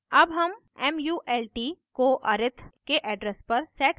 अब हम mult को arith के address पर set करते हैं